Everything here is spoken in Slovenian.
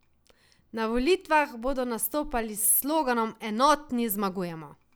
Na volitvah bodo nastopili s sloganom Enotni zmagujemo!